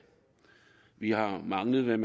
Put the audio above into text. vi har manglet